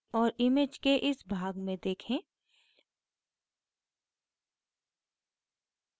और image के इस भाग में देखें